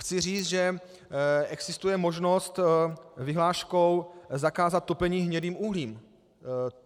Chci říct, že existuje možnost vyhláškou zakázat topení hnědým uhlím.